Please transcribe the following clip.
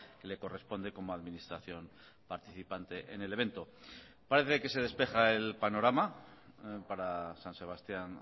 que le corresponde como administración participante en el evento parece que se despeja el panorama para san sebastián